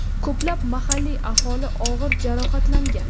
Ko‘plab mahalliy aholi og‘ir jarohatlangan.